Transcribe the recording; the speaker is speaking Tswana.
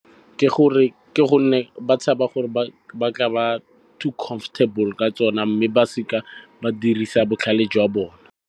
Ke gonne ba tshaba gore ba tla ba too comfortable ka tsona mme ba seka ba dirisa botlhale jwa bone.